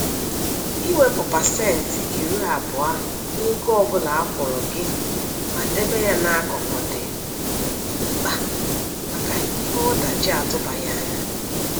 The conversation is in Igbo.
Iwepụ pasentị iri abụọ n'ego ọ bụla akwụrụ gị ma debe ya n'akụkụ dị mkpa maka ihe ọdachi atụbaghị anya.